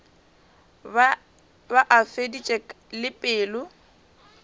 be a feditše le pelo